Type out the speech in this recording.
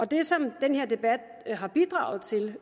det som den her debat har bidraget til